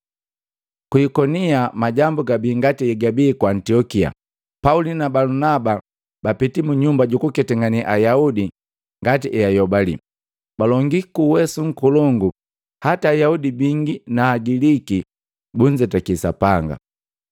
Ku Ikonia majambu gabi ngati hegabi ku Antiokia, Pauli na Balunaba bapiti mu nyumba jukuketangane Ayaudi ngati eayobali. Balongi kuuwesu nkolongu hata Ayaudi bi bingi na Agiliki bunzetaki Sapanga.